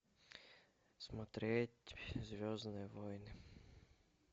смотреть звездные войны